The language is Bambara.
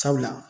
Sabula